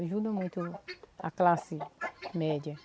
Ajudam muito a classe média.